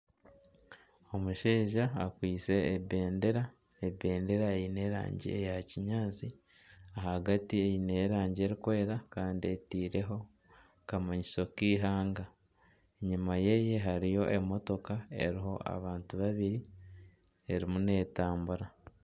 Omushaija akwaitse ebendera. Ebendera eine erangi eya kinyaatsi, ahagati eine erangi erikwera kandi eteireho akamanyiso k'eihanga. Enyima yeye hariyo emotoka eriho abantu babiri erimu netambura.